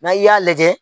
N'a y'a lajɛ